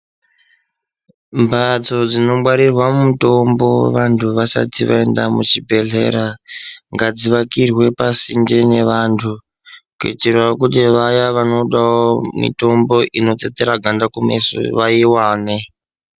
Mbatso dzinongwarirwa mutombo vantu vasati vaenda muchibhohlera ngadzivakirwe pasinde nevanhu kuitira kuti Vaya vanodawo mitombo inotsetsera ganda kumeso vaiwane.